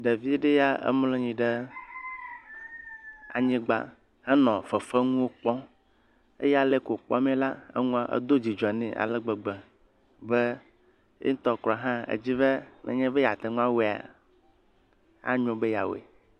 ɖeviɖeya emlɔnyi ɖe anyigbã henɔ fefeŋuwo kpɔm eye aleyike wò kpɔm mɛ la eŋua edó dzidzɔ nɛ alegbegbe be yeŋtɔ hã edzi be nenye be yateŋu awoea anyo be ya woe